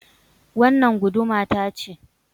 Wannan guduma ta ce